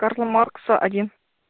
карла маркса один